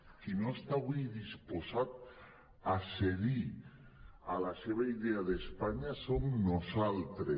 qui no està avui disposat a cedir a la seva idea d’espanya som nosaltres